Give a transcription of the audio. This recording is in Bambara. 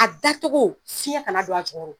A da cogo fiɲɛ kana don a jucɔrɔ